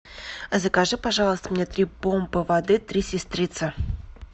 закажи пожалуйста мне три помпа воды три сестрица